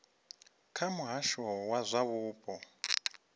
kha muhasho wa zwa mupo